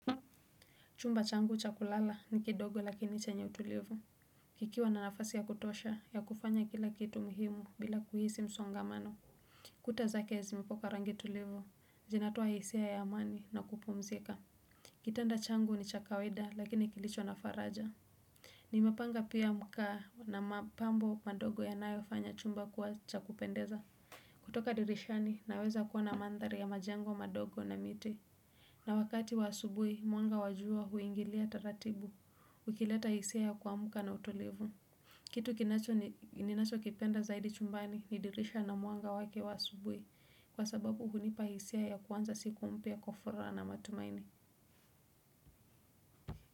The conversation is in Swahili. Chumba changu cha kulala ni kidogo lakini chenye utulivu. Kikiwa na nafasi ya kutosha ya kufanya kila kitu muhimu bila kuhisi msongamano. Kuta za ke zimepakwa rangi tulivu. Zinatoa hisia ya amani na kupumzika. Kitanda changu ni cha kawaida lakini kilicho na faraja. Nimepanga pia mkaa na mapambo madogo ya nayo fanya chumba kuwa chakupendeza. Kutoka dirishani naweza kuona mandhari ya majengo madogo na miti. Na wakati wa asubui mwanga wajua huingilia taratibu. Ukileta hisia ya kuamuka na utulivu. Kitu kinacho ninacho kipenda zaidi chumbani ni dirisha na mwanga wake wa asubui kwa sababu hunipa hisia ya kuanza siku mpya kwa furaha na matumaini.